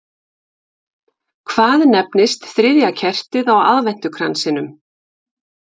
Hvað nefnist þriðja kertið á aðventukransinum?